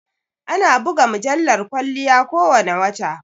Ana buga mujallar kwalliya ko wane wata